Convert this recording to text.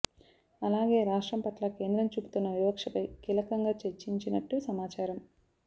అలాగే రాష్ట్రం పట్ల కేంద్రం చూపుతున్న వివక్షపై కీలకంగా చర్చించినట్టు సమాచారం